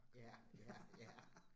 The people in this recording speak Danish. Ja, ja ja